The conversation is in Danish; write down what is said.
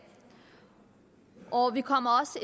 og vi kommer